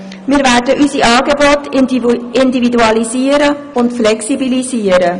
Wir werden unsere Angebote individualisieren und flexibilisieren.»